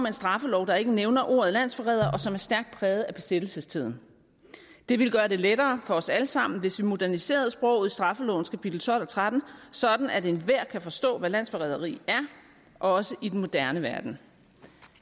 en straffelov der ikke nævner ordet landsforræder og som er stærkt præget af besættelsestiden det ville gøre det lettere for os alle sammen hvis vi moderniserede sproget i straffelovens kapitel tolv og tretten sådan at enhver kan forstå hvad landsforræderi er også i den moderne verden